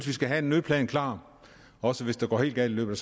vi skal have en nødplan klart også hvis det går helt galt i løbet